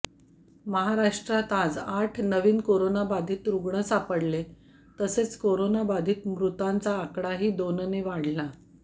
महाराष्ट्रात आज आठ नवीन कोरोनाबाधित रुग्ण सापडले तसेच कोरोनाबाधित मृतांचा आकडाही दोनने वाढला